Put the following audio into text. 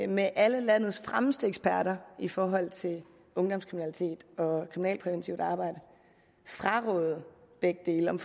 med alle landets fremmeste eksperter i forhold til ungdomskriminalitet og kriminalpræventivt arbejde frarådede begge dele om